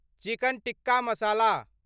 chicken tikka मसाला